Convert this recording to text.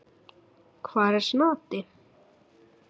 Hvar er Snati?